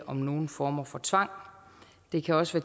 om nogen former for tvang det kan også